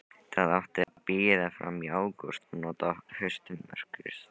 Það átti að bíða fram í ágúst og nota haustmyrkrið.